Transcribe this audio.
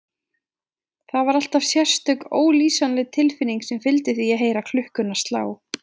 Það var alltaf sérstök, ólýsanleg tilfinning sem fylgdi því að heyra klukkuna slá.